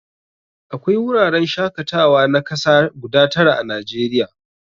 Akwai wuraren shakatawa na kasa guda tara a Najeriya.